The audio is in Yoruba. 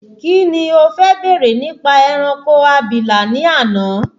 Kíni o fẹ́ bèrè nípa ẹranko abìlà ní àná?